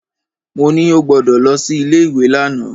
Mo ní ó gbọdọ̀ lọ sí ilé ìwé lánàá.